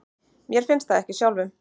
Mér finnst það ekki sjálfum.